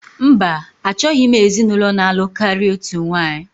Mba, achọghị m ezinụlọ na-alụ karịa otu nwaanyị